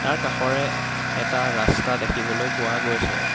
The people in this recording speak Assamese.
তাৰ কাষৰে এটা ৰাস্তা দেখিবলৈ পোৱা গৈছে।